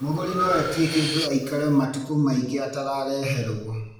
Mũgũri no etie kĩndũ aikare matukũ maingĩ atarareherwo